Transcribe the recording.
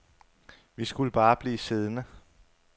Vi skulle bare blive siddende.